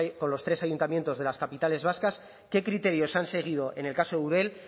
con los tres ayuntamientos de las capitales vascas qué criterios se han seguido en el caso eudel